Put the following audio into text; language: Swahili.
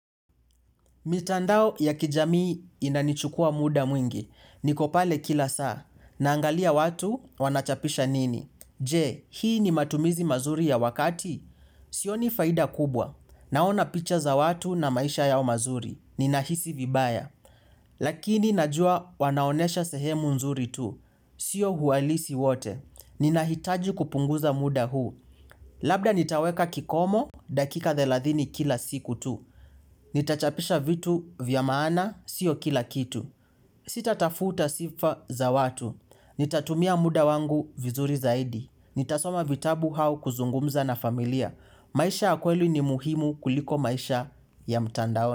Mitandao ya kijamii inanichukua muda mwingi. Nikopale kila saa. Naangalia watu, wanachapisha nini. Je? Hii ni matumizi mazuri ya wakati? Sioni faida kubwa. Naona picha za watu na maisha yao mazuri. Ninahisi vibaya. Lakini najua wanaonesha sehemu nzuri tu. Sio huwalisi wote. Ninahitaji kupunguza muda huu. Labda nitaweka kikomo, dakika thelathini kila siku tu. Nitachapisha vitu, vya maana sio kila kitu. Sita tafuta sifa za watu. Nitatumia muda wangu vizuri zaidi. Nitasoma vitabu hao kuzungumza na familia. Maisha yakweli ni muhimu kuliko maisha, ya mtandao.